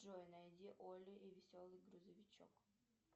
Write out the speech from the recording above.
джой найди олли веселый грузовичок